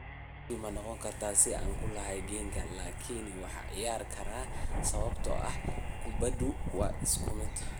Guushu ma noqon karto sidii aan ku lahaa Genk, laakiin waan ciyaari karaa, sababtoo ah kubbadu waa isku mid.